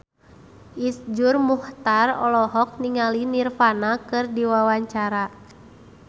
Iszur Muchtar olohok ningali Nirvana keur diwawancara